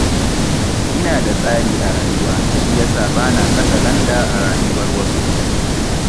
Ina da tsari a rayuwata, shi ya sa ba na katsalandan a rayuwar wasu.